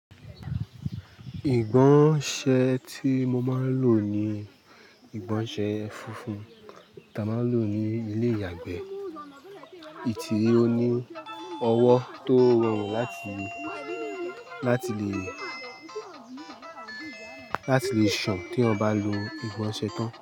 Ìgbọ̀nsẹ̀ tí mo máa lò ni ìgbọ̀nsẹ̀ funfun ta máa ń lò ní ilé ìyàgbẹ́. Ètì òní ọwọ́ tó rọrùn láti lè, láti lè, láti lè sàn teeyan bá lo ìgbọ̀nsẹ̀ tán.